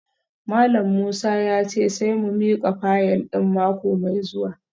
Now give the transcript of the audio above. Malam Musa ya ce sai mu mika fayil din mako mai zuwa